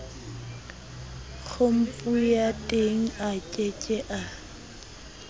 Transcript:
khompuyuteng a ke ke a